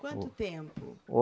Quanto tempo?